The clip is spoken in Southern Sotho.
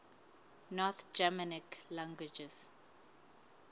north germanic languages